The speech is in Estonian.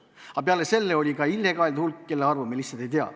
Aga peale selle on ka illegaalid, kelle arvu me lihtsalt ei tea.